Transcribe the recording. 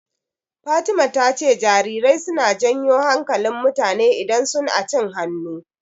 Fatima ta ce jarirai suna janyo hankalin mutane idan sun acin hannu.